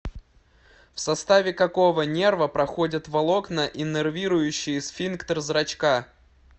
в составе какого нерва проходят волокна иннервирующие сфинктер зрачка